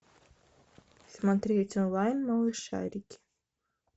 смотреть онлайн малышарики